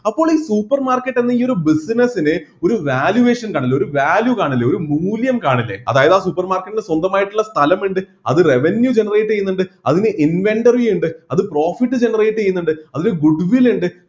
അപ്പോൾ ഈ supermarket എന്ന ഈ ഒരു business ന് ഒരു valuation കാണില്ലേ ഒരു value കാണില്ലേ ഒരു മൂല്യം കാണില്ലേ അതായത് ആ supermarket ന് സ്വന്തമായിട്ടുള്ള സ്ഥലമുണ്ട് അത് revenue generate ചെയ്യുന്നുണ്ട് അതിന് inventory ഇണ്ട് അത് profit generate ചെയ്യുന്നുണ്ട് അതിന് goodwill ഇണ്ട്